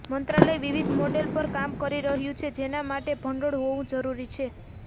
મંત્રાલય વિવિધ મોડેલો પર કામ કરી રહ્યું છે જેના માટે ભંડોળ હોવું જરૂરી છે